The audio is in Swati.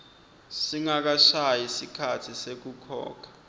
singakashayi sikhatsi sekukhokha